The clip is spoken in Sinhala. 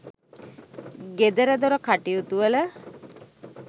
ගෙදරදොර කටයුතුවල